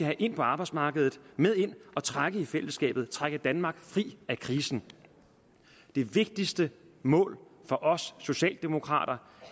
med ind på arbejdsmarkedet med ind at trække i fællesskabet trække danmark fri af krisen det vigtigste mål for os socialdemokrater